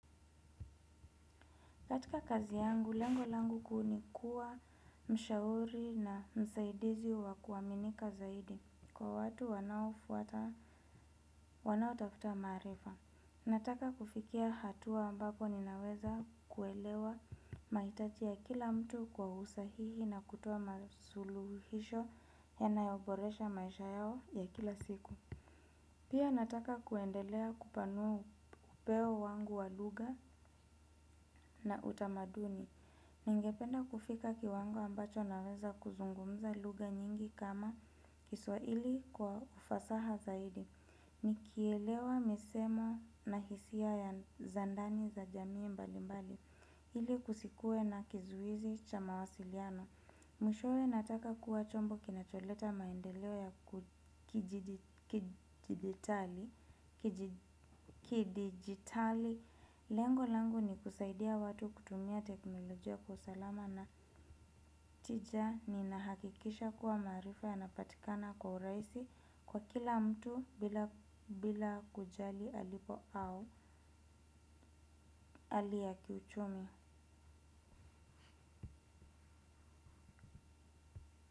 Katika kazi yangu, lengo langu kuu ni kuwa mshauri na msaidizi wa kuaminika zaidi. Kwa watu wanaofuata, wanaotafuta maarifa. Nataka kufikia hatua ambapo ninaweza kuelewa maitaji ya kila mtu kwa usahihi na kutoa masuluhisho yanayoboresha maisha yao ya kila siku. Pia nataka kuendelea kupanua upeo wangu wa lugha na utamaduni. Ningependa kufika kiwango ambacho naweza kuzungumza lugha nyingi kama kiswaili kwa ufasaha zaidi. Nikielewa misemo na hisia za ndani za jamii mbali mbali. Ili kusikue na kizuizi cha mawasiliano. Mwishowe nataka kuwa chombo kinacholeta maendeleo ya kijijitali. Kidijitali, lengo langu ni kusaidia watu kutumia teknolojia kwa usalama na tija ninahakikisha kuwa maarifa yanapatikana kwa uraisi kwa kila mtu bila kujali alipo au ali ya kiuchumi.